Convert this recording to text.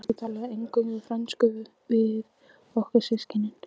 Hún byrjaði strax að tala eingöngu frönsku við okkur systkinin.